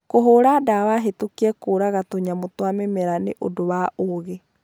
kũhũũra ndawa hĩtũkie kũraga tũnyamũ twa mĩmera nĩ ũndũ wa ũũgĩ